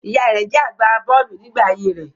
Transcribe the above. Ìyá rẹ̀ jẹ́ agbà bọ́ọ̀lù nígbà ayé rẹ̀.